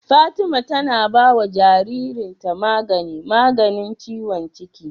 Fatima tAna bawa jarirn ta magani maganin ciwon cikin?